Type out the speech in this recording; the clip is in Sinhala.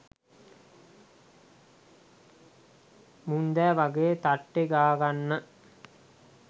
මුන්දෑ වගේ තට්ටේ ගාගන්න